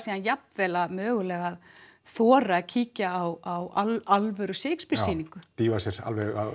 jafnvel mögulega að þora að kíkja á alvöru Shakespeare sýningu já dýfa sér alveg